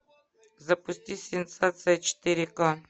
запусти сенсация четыре к